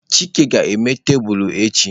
Chike ga-eme tebụl echi.